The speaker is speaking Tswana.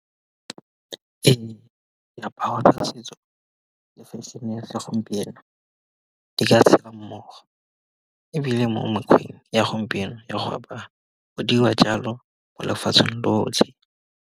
Ee diaparo tsa setso le fešhene ya segompieno, di ka tshela mmogo ebile mo mekgweng ya gompieno ya go apara, go diriwawa jalo mo lefatsheng lotlhe.